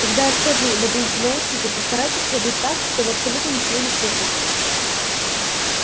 когда я скажу наденьте наушники постарайтесь надеть так чтобы абсолютно ничего не слышать